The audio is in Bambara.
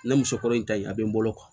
Na muso kɔrɔ in ta in a bɛ n bolo